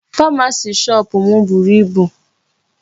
Pharmacy shop m buru ibu.